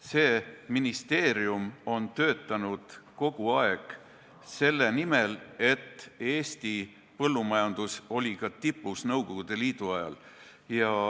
See ministeerium on töötanud kogu aeg selle nimel, et Eesti põllumajandus oleks tipus, ka Nõukogude Liidu ajal.